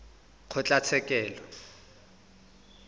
kgotlatshekelo